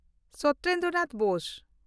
Satyendra Nath Bose